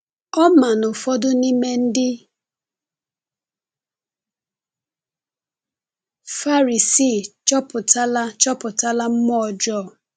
Ọ ma na ụfọdụ n’ime ndị Farisii chụpụtala chụpụtala mmụọ ọjọọ.